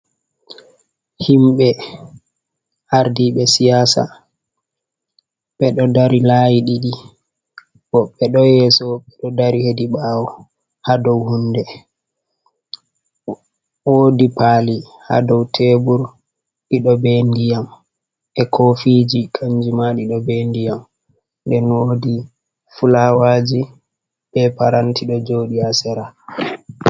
Himɓe ardi ɓe siyasa, ɓe ɗo darii layi ɗiɗi, woɓɓe ɗo yeeso, woɓɓe ɗo dari he ɗi ɓaawo, haa doo hunde, woodi paali haa doo teebur, ɗiɗo be ndiyam e kofiji, kanji ma ɗiɗo be diyam, nden woodi fulawaji, be paranti ɗo jooɗii haa sera.